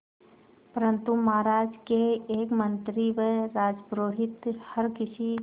परंतु महाराज के एक मंत्री व राजपुरोहित हर किसी